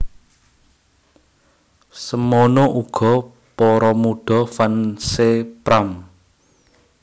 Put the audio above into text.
Semono uga para mudha fans é Pram